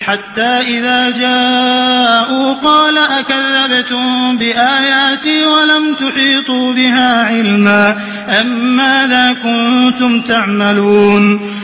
حَتَّىٰ إِذَا جَاءُوا قَالَ أَكَذَّبْتُم بِآيَاتِي وَلَمْ تُحِيطُوا بِهَا عِلْمًا أَمَّاذَا كُنتُمْ تَعْمَلُونَ